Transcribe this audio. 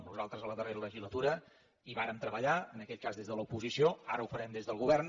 nosaltres a la darrera legislatura hi vàrem treballar en aquell cas des de l’oposició ara ho farem des del govern